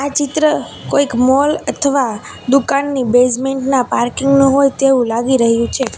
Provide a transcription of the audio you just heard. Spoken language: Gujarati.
ચિત્ર કોઈક મૉલ અથવા દુકાનની બેઝમેન્ટ ના પાર્કિંગ નું હોય તેવું લાગી રહ્યું છે.